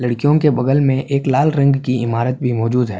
لڑکیوں کے بغل میں ایک لال رنگ کہ عمارت بھی موجود ہے۔.